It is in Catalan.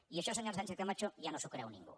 i això senyora sánchez camacho ja no s’ho creu ningú